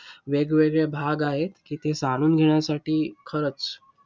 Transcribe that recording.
वेगवेगळे भाग आहेत, की ते साधून घेण्यासाठी खरचं!